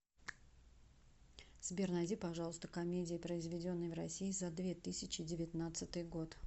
сбер найди пожалуйста комедии произведенные в россии за две тысячи девятнадцатый год